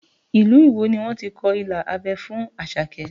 Ilu Iwo ni wọ́n ti kọ ilà abẹ́ fún Àṣàkẹ́